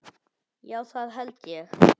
Já það held ég.